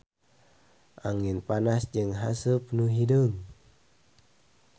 Angin panas jeung haseup nu hideung.